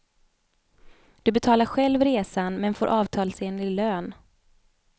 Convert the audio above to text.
Du betalar själv resan men får avtalsenlig lön.